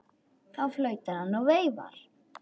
Þá flautar hann og veifar.